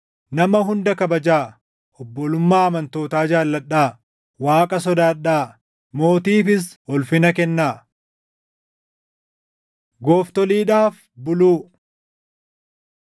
Nama hunda kabajaa; obbolummaa amantootaa jaalladhaa; Waaqa sodaadhaa; mootiifis ulfina kennaa. Gooftoliidhaaf Buluu